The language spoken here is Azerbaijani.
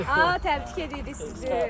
Aha, təbrik edirik sizi.